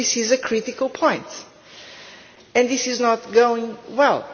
so this is a critical point, and this is not going well.